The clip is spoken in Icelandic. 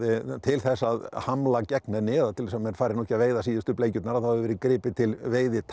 til þess að hamla gegn henni til þess að menn fari nú ekki að veiða síðustu bleikjurnar þá hefur verið gripið til